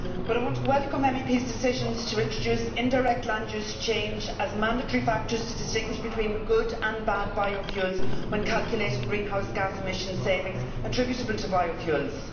But I want to welcome MEPs' decisions to introduce indirect land use change as a mandatory factor to distinguish between good and bad biofuels when calculating greenhouse gas emission savings attributable to biofuels.